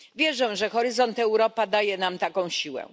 Wierzę, że Horyzont Europa daje nam taką siłę.